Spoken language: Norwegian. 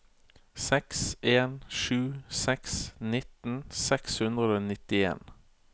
seks en sju seks nitten seks hundre og nittien